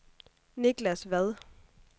Niklas Vad